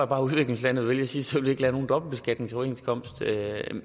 bare at udviklingslandet vælger at sige så vil vi ikke lave nogen dobbeltbeskatningsoverenskomst